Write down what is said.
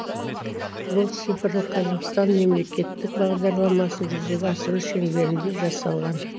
бұл цифрлық қазақстан мемлекеттік бағдарламасын жүзеге асыру шеңберінде жасалған